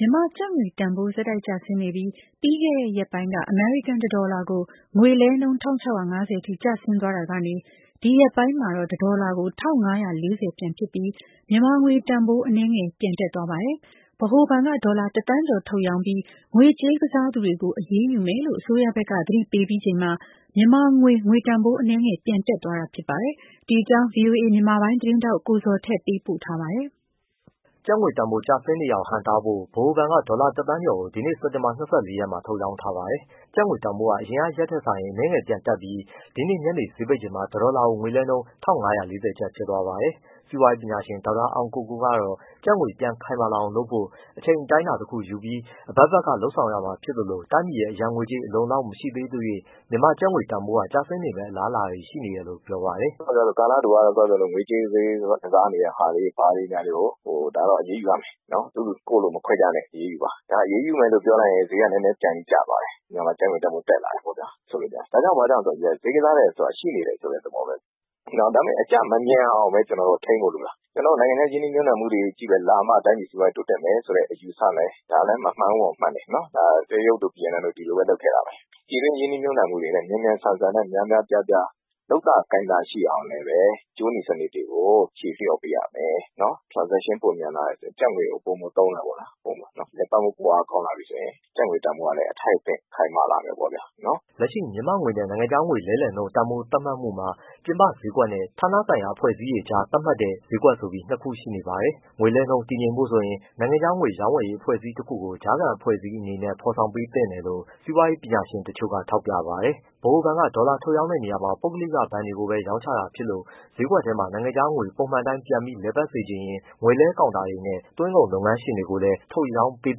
မြန်မာကျပ်ငွေတန်ဖိုး ဆက်တိုက် ကျဆင်းနေပြီး ပြီးခဲ့တဲ့ရက်ပိုင်းက အမေရိကန်တဒေါ်လာကို ငွေလဲနှုန်း ၁၆၅၀ အထိ ကျဆင်းသွားတာကနေ၊ ဒီရက်ပိုင်းမှာတော့ တဒေါ်လာကို ၁၅၄၀ ပြန်ဖြစ်ပြီး မြန်မာငွေတန်ဖိုး အနည်းငယ် ပြန်တက်သွားပါတယ်။ ဗဟိုဘဏ်က ဒေါ်လာ တသန်းကျော် ထုတ်ရောင်းပြီး ငွေကြေးကစားသူတွေကို အရေးယူမယ်လို့ အစိုးရဘက်က သတိပေးပြီးချိန်မှာ မြန်မာငွေ ငွေတန်ဖိုး အနည်းငယ် ပြန်တက်သွားတာဖြစ်ပါတယ်။ ဒီအကြောင်း ဗွီအိုအေ မြန်မာပိုင်းသတင်းထောက် ကိုဇော်ထက် ပေးပို့ ထားပါတယ်။ ကျပ်ငွေတန်ဖိုး ဆက်တိုက် ကျနေတာကို ဟန့်တားဖို့အတွက် ဗဟိုဘဏ်က ဒေါ်လာတသန်းနဲ့ သုံးသိန်း ဒီနေ့စက်တင်ဘာ၂၄ရက်မှ ာထုတ်ရောင်းထားပါတယ်။ ကျပ်ငွေတန်ဖိုးဟာအရင်ရက်နဲ့ စာရင် အနည်းငယ် ပြန်တက်ပြီး ဒီနေ့ညနေဈေးပိတ်ချိန်မှာ တဒေါ်လာကို ငွေလဲနှုန် း၁၅၄၀ ကျပ် ဖြစ်သွားပါတယ်။ စီးပွားရေးပညာရှင် ဒေါက်တာအောင်ကိုကိုကတော့ ကျပ်ငွေပြန်ခိုင်မာလာအောင် လုပ်ဖို့ အချိန်အတိုင်းအတာ တစ်ခုယူပြီး အဘက်ဘက်ကလုပ်ဆောင်ရမှာဖြစ်သလို တိုင်းပြည်ရဲ့အရန်ငွေကြေး အလုံအလောက် မရှိသေးသရွှေ့ မြန်မာကျပ်ငွေ တန်ဖိုးကကျဆင်းမယ့် အလားအလာတွေရှိတယ်လို့ ပြောပါတယ်။ “ကာလတိုကတော့ ငွေကြေးဈေးကစားနေတာတွေ ဘာတွေ ဒါတော့အရေးယူရမယ်။ သူ့လူကိုယ့်လူမခွဲခြားနဲ့ အရေးယူပါ။ အရေးယူပါ ပြောလိုက်ရင် ဈေးကနည်းနည်းကျသွားတယ် မြန်မာကျပ်ငွေတန်ဖိုး တက်လာတယ်ပေါ့ဗျာ ဒါက ဘာကြောင့်လဲဆိုတော့ ဈေးကစားတယ် ဆိုတာရှိနေတယ်ဆိုတဲ့ သဘောပဲ။ ဒါပေမဲ့ အကျမမြန်အောင်ပဲ ထိန်းဖို့လိုတာ။ နိုင်ငံခြား ရင်းနှီးမြှုပ်နှံမှုတွေ လာမှ တိုင်းပြည်စီးပွားရေး တိုးတက်မယ်ဆိုတဲ့အယူအဆ ဒါလည်းမမှန်ဘူး မဟုတ်ဘူး မှန်တယ်။ တရုတ်တို့ ၊ဗီယက်နမ်တို့ ဒီလိုပဲ လုပ်ခဲ့တာပဲ။ ပြည်တွင်းရင်းနှီး မြှုပ်နှံမှုတွေလည်း မြန်မြန်ဆန်ဆန်များများပြားပြား လုပ်သာကိုင်သာရှိအောင်လည်းပဲ ကြိုးနီစနစ်တွေကို ဖြေလျှော့ပေးရမယ်။ Transaction ပိုမြန်လာတယ်ဆိုရင် ကျပ်ငွေကို ပိုမိုသုံးတယ်ပေါ့ဗျာ။ လည်ပတ်မှု ပိုအားကောင်းလာပြီဆိုရင် း ကျပ်ငွေတန်ဖိုးကလည်း အထိုက်အသင့် ခိုင်မာလာမယ်ပေါ့ဗျာနော်။” လက်ရှိ မြန်မာငွေနဲ့ နိုင်ငံခြားငွေလဲလှယ်နှုန်းတန်ဖိုးသတ်မှတ်မှုမှာ ပြင်ပဈေးကွက်နဲ့ ဌာနဆိုင်ရာအဖွဲ့အစည်းတွေကြားသတ်မှတ်တဲ့ ဈေးကွက်ဆိုပြီး နှစ်ခုရှိနေပါတယ်။ ငွေလဲနှုန်းတည်ငြိမ်ဖို့ဆိုရင် နိုင်ငံခြားငွေရောင်းဝယ်ရေးအဖွဲ့အစည်းတစ်ခုကို ကြားခံအဖွဲ့အစည်းနေနဲ့ ဖော်ဆောင်ပေးသင့်တယ်လို့ စီးပွားရေးပညာရှင်တချို့ကထောက်ပြပါတယ်။ ဗဟိုဘဏ်က ဒေါ်လာထုတ်ရောင်းတဲ့နေရာမှာ ပုဂ္ဂလိကဘဏ်တွေကိုပဲရောင်းချပေးတာဖြစ်လို့ ဈေးကွက်ထဲမှာ နိုင်ငံခြားငွေပုံမှန်အတိုင်းပြန်ပြီးလည်ပတ်စေချင်ရင် ငွေလဲကောင်တာတွေနဲ့ သွင်းကုန်လုပ်ငန်းရှင်တွေကိုလည်းထုတ်ရောင်းပေး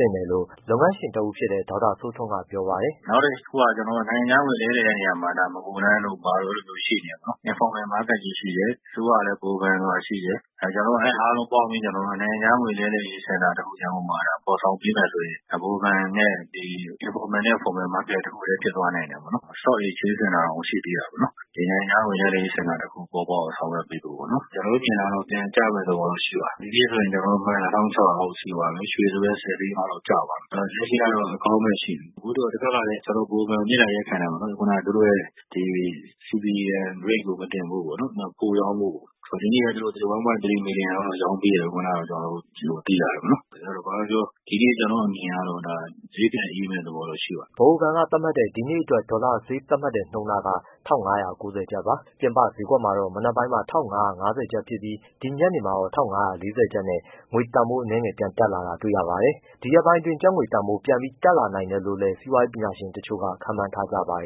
သင့်တယ်လို့ လုပ်ငန်းရှင်တဦးဖြစ်တဲ့ ဒေါက်တာဦးစိုးထွန်းက ပြောပါတယ်။ “နောက်တစ်ခုက ကျွန်တော်တို့ နိုင်ငံခြားငွေ လဲလှယ်တဲ့နေရာမှာ မဂိုလမ်းတို့ ဘာတို့ရှိနေတယ်ပေါ့နော်။ informal market ကြီး ရှိတယ်။ အစိုးရကလည်း ဗဟိုဘဏ်ဆိုတာ ရှိတယ်။ ကျွန်တော်တို့ အဲဒါတွေပေါင်းပြီး နိုင်ငံခြားငွေ လဲလှယ်ရေး စင်တာတစ်ခု ရန်ကုန်မှာဖော်ဆောင် ပေးမယ်ဆိုရင် ဗဟိုဘဏ်နဲ့ informal နဲ့formal market တစ်ခုတည်းဖြစ်သွားနိုင်တယ်ပေါ့။ stock exchange center တောင်ရှိသေးတာပဲ။ နောက်ဒီနိုင်ငံခြားငွေလဲလှယ်ရေး စင်တာတစ်ခု ပေါ်ပေါက်အောင် ဆောင်ရွက်ပေးဖို့ပေါ့နော် ကျွန်တော်တို့မြင်တာကတော့ ပြန်ကျမယ့်သဘောတော့ ရှိပါတယ်။ ဒီနေ့ကျွန်တော်တို့မှန်းတာ ၁၆၀၀အောက်ရှိသွားပြီ ရွှေဆိုလည်း ၁၀ သိန်းအောက်လောက်ရှိသွားပြီ။ လက်ရှိကတော့ အကောင်းဘက်ရှိနေတယ်။ အခုတစ်ဘက်ကလည်း ကျွန်တော်တို့ ဗဟိုဘဏ်ကို မေတ္တာရပ်ခံတယ်ပေါ့နော်။ ခုနကသူတို့ရဲ့ဒီ CBM Rate ကို မတင်ဖို့ပေါ့နော်။ နောက်ပိုရောင်းဖို့။ ဒီနေ့လည်း သူတို့ ၁.၃ မီလီယံ လောက် ရောင်းပေးတယ်လို့ ခုနကကျွန်တော်တို့သိရတယ်ပေါ့နော်။ ဘာပဲပြောပြောဒီနေ့ကျွန်တော့်အမြင်ကတော့ ဈေးပြန်အေးမယ့်သဘောတော့ရှိပါတယ်။” ဗဟိုဘဏ်က သတ်မှတ်တဲ့ ဒီနေ့အတွက် ဒေါ်လာဈေး သတ်မှတ်တဲ့နှုန်းကတော့၁၅၉၀ ကျပ်ပါ။ ပြင်ပဈေးကွက်မှာတော့မနက်ပိုင်းမှာ ၁၅၅၀ကျပ် ဖြစ်ပြီး ဒီညနေမှာတော့ ၁၅၄၀ ကျပ်နဲ့ ငွေတန်ဖိုး အနည်းငယ်ပြန်တက်လာတာကိုတွေ့ရပါတယ်။ ဒီရက်ပိုင်းအတွင်း ကျပ်ငွေတန်ဖိုး ဒီထက်ပြန်ပြီး တက်လာနိုင်တယ်လို့လည်း စီးပွားရေးပညာရှင် တချို့က ခန့်မှန်းကြပါတယ်